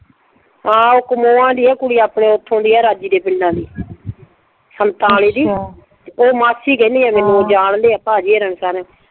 ਹਾਂ ਉਹ ਕਮੁਆਂਦੀ ਆ ਆਪਣੇ ਉਥੋਂ ਦੀ ਆ ਰਾਜੀ ਦੇ ਪਿੰਡਾਂ ਦੀ, ਸੰਤਾਂ ਆਲੇ ਦੀ। ਉਹ ਮਾਸੀ ਕਹਿੰਦੀ ਆ ਮੈਨੂੰ ਜਾਣਦੇ ਆ ਭਾਜੀ ਹੁਣਾ ਸਾਰੇ।